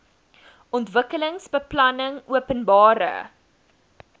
ontwikkelingsbeplanningopenbare